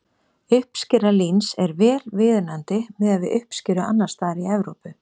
Uppskera líns er vel viðunandi miðað við uppskeru annars staðar í Evrópu.